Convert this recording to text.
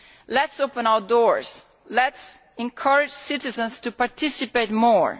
Let us open our doors. Let us encourage citizens to participate more.